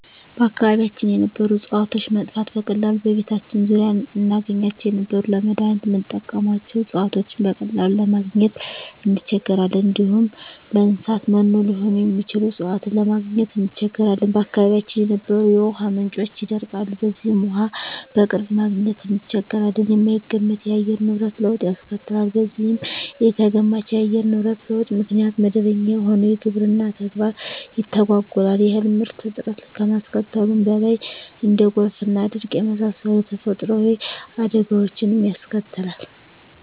በአካባቢያችን የነበሩ እጽዋቶች መጥፋት፤ በቀላሉ በቤታችን ዙሪያ እናገኛቸው የነበሩ ለመዳኒትነት ምንጠቀምባቸው እጽዋቶችን በቀላሉ ለማግኝ እንቸገራለን፣ እንዲሁም ለእንሰሳት መኖ ሊሆኑ የሚችሉ እጽዋትን ለማግኘት እንቸገራለን፣ በአካባቢያችን የነበሩ የውሃ ምንጮች ይደርቃሉ በዚህም ውሃ በቅርብ ማግኘት እንቸገራለን፣ የማይገመት የአየር ንብረት ለውጥ ያስከትላል በዚህም ኢተገማች የአየር ንብረት ለውጥ ምክንያት መደበኛ የሆነው የግብርና ተግባር ይተጓጎላል የእህል ምርት እጥረት ከማስከተሉም በላይ እንደ ጎርፍና ድርቅ የመሳሰሉ ተፈጥሮአዊ አደጋወችንም ያስከትላል።